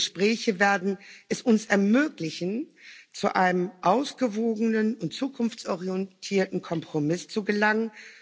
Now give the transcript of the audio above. Diese Gespräche werden es uns ermöglichen, zu einem ausgewogenen und zukunftsorientierten Kompromiss zu gelangen.